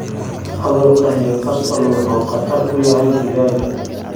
Cudurka Newcastle wuxuu khatar ku yahay digaagga.